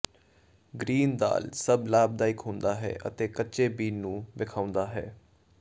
green ਦਾਲ਼ ਸਭ ਲਾਭਦਾਇਕ ਹੁੰਦਾ ਹੈ ਅਤੇ ਕਚ੍ਚੇ ਬੀਨ ਨੂੰ ਵੇਖਾਉਦਾ ਹੈ